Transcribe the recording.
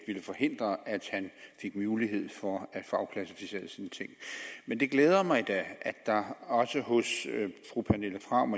ville forhindre at han fik mulighed for at få afklassificeret sine ting men det glæder mig da at der også hos fru pernille frahm